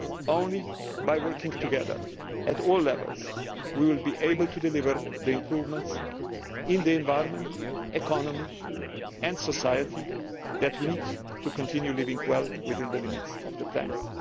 Only by working together at all levels will we be able to deliver the improvements in the environment, the economy and society that we need to continue living well, within the limits of the planet.